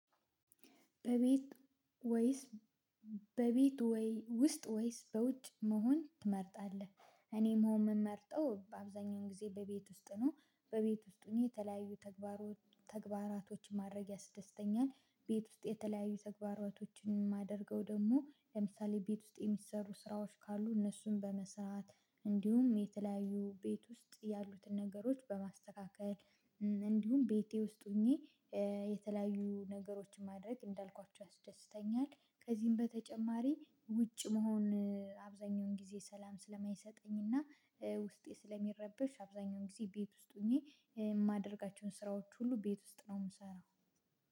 በቤት ወይስ በቤት ወይ ውስጥ ወይስ በውጭ መሆን ትመርጣለህ? እኔም መሆን ምመርጠው በአብዛኛውን ጊዜ በቤት ውስጥ ነው በቤት ውስጥ ሆኜ የተለያዩ ተግባሮች ተግባራቶች ማድረግ ያስደስተኛል ቤት ውስጥ የተለያዩ ተግባራቶችን የማደርገው ደግሞ ለምሳሌ ቤት ውስጥ የሚሰሩ ስራዎች ካሉ እነሱን በመስራት እንዲሁም የተለያዩ ቤት ውስጥ ያሉትን ነገሮች በማስተካከል እንዲሁም ቤቴ ውስጥ ሆኜ የተለያዩ ነገሮችን ማድረግ እንዳልኳችሁ ያስደስተኛል። ከዚህም በተጨማሪ ውጭ መሆን አብዛኛውን ጊዜ ሰላም ስለማይሰጠኝና ውስጤ ስለሚረበሽ አብዛኛውን ጊዜ ቤት ውስጥ ሆኜ የማደርጋቸውን ስራዎች ሁሉ ቤት ውስጥ ነው የምሰራው።